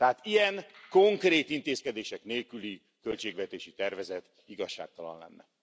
Tehát egy ilyen, konkrét intézkedések nélküli költségvetési tervezet igazságtalan lenne.